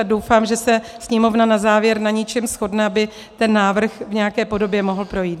A doufám, že se Sněmovna na závěr na něčem shodne, aby ten návrh v nějaké podobě mohl projít.